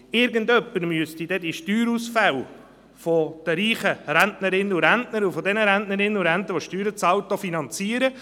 Irgendjemand müsste die Steuerausfälle der reichen Rentnerinnen und Rentner und derjenigen Rentnerinnen und Rentner, die Steuern zahlen, auch wieder finanzieren.